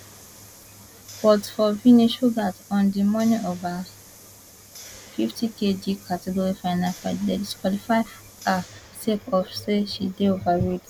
but for vinesh pougat on di morning of her fifty kg category final fight dem disqualify her sake of say she dey overweight